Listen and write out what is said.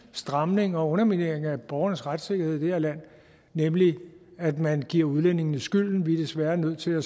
stramninger og undermineringer af borgernes retssikkerhed i det her land nemlig at man giver udlændingene skylden vi er desværre nødt til at